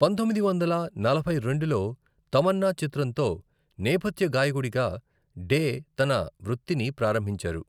పంతొమ్మిది వందల నలభై రెండులో తమన్నా చిత్రంతో నేపథ్య గాయకుడిగా డే తన వృత్తిని ప్రారంభించారు.